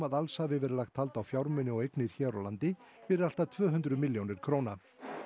að alls hafi verið lagt hald á fjármuni og eignir hér á landi fyrir allt að tvö hundruð milljónir króna